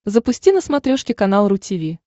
запусти на смотрешке канал ру ти ви